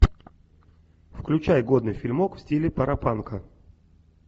включай годный фильмок в стиле паропанка